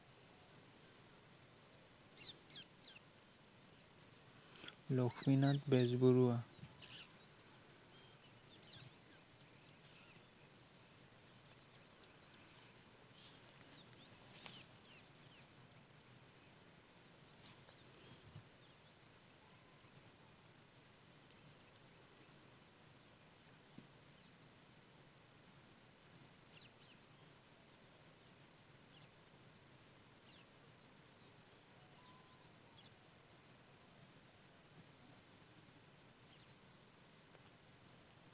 Lakshminath Bezbaroa